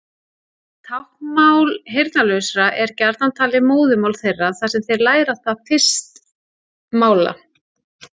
Táknmál heyrnarlausra er gjarnan talið móðurmál þeirra þar sem þeir læra það fyrst mála.